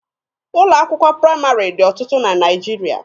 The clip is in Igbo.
Ụlọ akwụkwọ praịmarị dị ọtụtụ na Naịjirịa.